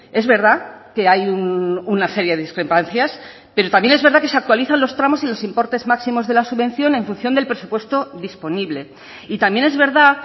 es verdad que hay una serie de discrepancias pero también es verdad que se actualizan los tramos y los importes máximos de la subvención en función del presupuesto disponible y también es verdad